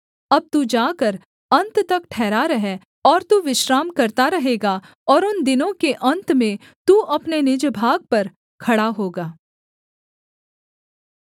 अब तू जाकर अन्त तक ठहरा रह और तू विश्राम करता रहेगा और उन दिनों के अन्त में तू अपने निज भाग पर खड़ा होगा